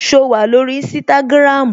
So wà lórí Instagram?